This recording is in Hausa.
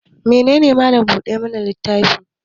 Mene ne Mallam buɗe littafi?